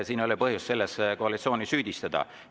Siin ei ole põhjust koalitsiooni süüdistada.